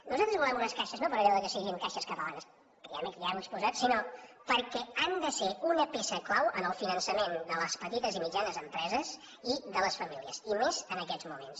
nosaltres volem unes caixes no per allò que siguin caixes catalanes que ja ho he exposat sinó perquè han de ser una peça clau en el finançament de les petites i mitjanes empreses i de les famílies i més en aquests moments